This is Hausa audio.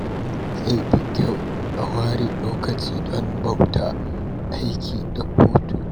Zai fi kyau a ware lokaci don bauta, aiki, da hutu.